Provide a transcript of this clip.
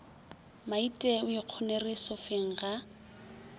maite o ikgonere sofeng ga